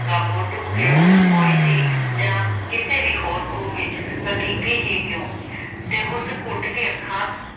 ਗਾਬੋ ਡੁੱਬ ਕੇ ਮੋਈ ਸੀ ਜਾਂ ਕਿਸੇ ਵੀ ਹੋਰ ਖੂਹ ਵਿਚ ਹਕੀਕੀ ਹੀ ਕਿਉਂ ਤੇ ਉਸ ਘੁੱਟ ਕੇ ਅੱਖਾਂ